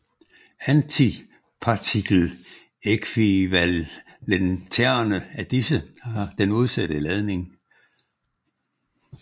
Antipartikel ækvivalenterne af disse har den modsatte ladning